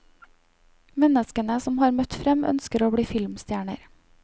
Menneskene som har møtt frem ønsker å bli filmstjerner.